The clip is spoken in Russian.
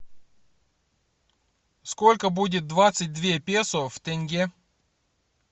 сколько будет двадцать две песо в тенге